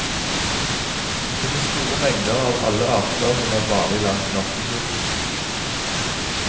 Det finnes store mengder av alle arter som er vanlig langs norskekysten.